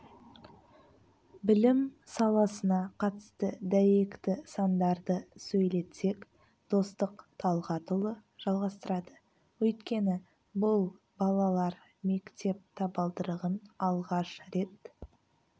білім саласына қатысты дәйекті сандарды сөйлетсек достық талғатұлы жалғастырады өйткені бұл балалар мектеп табалдырығын алғаш рет